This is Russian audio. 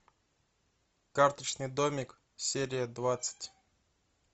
карточный домик серия двадцать